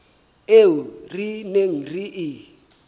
eo re neng re e